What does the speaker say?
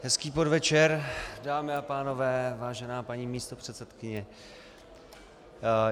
Hezký podvečer, dámy a pánové, vážená paní místopředsedkyně.